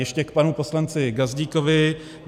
Ještě k panu poslanci Gazdíkovi.